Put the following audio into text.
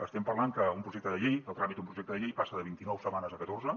estem parlant que un projecte de llei el tràmit d’un projecte de llei passa de vint i nou setmanes a catorze